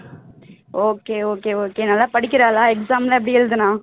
okay okay okay நல்லா படிக்கிறாளா exam எல்லாம் எப்படி எழுதினா?